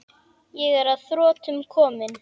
Ég er að þrotum kominn.